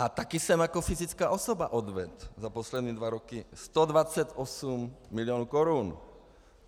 A taky jsem jako fyzická osoba odvedl za poslední dva roky 128 milionů korun.